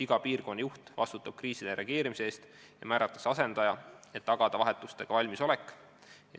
Iga piirkonna juht vastutab kriisidele reageerimise eest ja talle määratakse ka asendaja, et tagada vahetustega valmisolek.